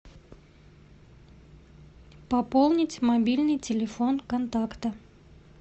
пополнить мобильный телефон контакта